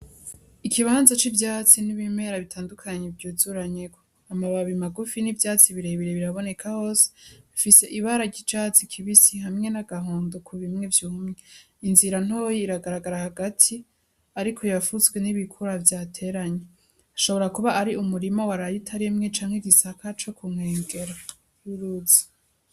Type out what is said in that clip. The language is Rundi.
Ikibanza c'ivyatsi n'ibimera bitandukanye vyuzuranyeko amabababi magufi n'ivyatsi birebire biraboneka hose bifise ibara ryicatsi kibisi hamwe n'agahondo ku bimwe vyumwe inzira ntoyi iragaragara hagati, ariko yafutswe n'ibikura vyateranye ashobora kuba ari umurima waraye utarimwe canke gisaka co kunkengera yuruzi.